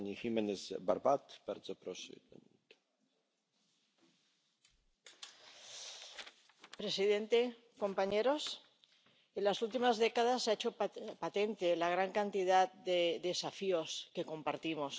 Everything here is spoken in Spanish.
Señor presidente, compañeros, en las últimas décadas se ha hecho patente la gran cantidad de desafíos que compartimos.